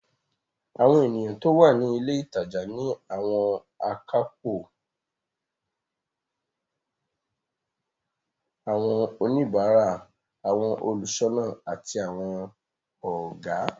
Àwọn ènìyàn tó wà ní ilé ìtajà ni àwọn akápò, àwọn oníbàárà, àwọn olùṣọ́nà àti àwọn Ọ̀gá